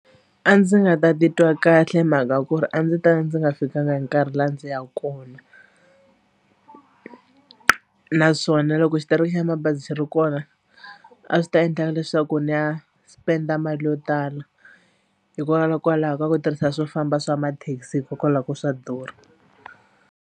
A ndzi nga ta titwa kahle hi mhaka ku ri a ndzi ta ndzi nga fikanga hi nkarhi laha ndzi ya kona naswona loko xitereko xa mabazi ri kona a swi ta endla leswaku ndzi ya spend-a mali yo tala hikwalaho ka ku tirhisa swo famba swa mathekisi hikokwalaho ka ku swa durha.